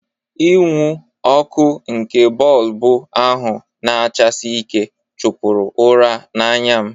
Inwu ọkụ nke bọlbụ ahụ na-achasi ike chụpụrụ ụra n'anya m